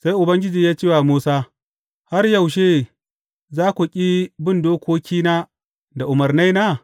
Sai Ubangiji ya ce wa Musa, Har yaushe za ku ƙi bin dokokina da umarnaina?